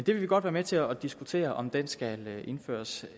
vil godt være med til at diskutere om den skal indføres